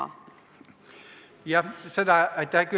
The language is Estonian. Aitäh küsimuse eest!